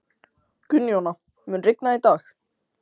Gunnjóna, mun rigna í dag?